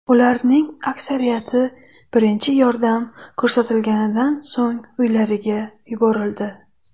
Ularning aksariyati birinchi yordam ko‘rsatilganidan so‘ng uylariga yuborildi.